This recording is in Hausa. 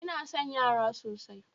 Ina son yara sosai